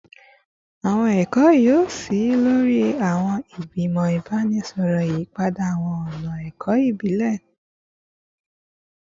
Awọn ẹkọ yoo ṣii lori awọn igbimọ ibaraẹnisọrọ, yiyipada awọn ọna ẹkọ ibile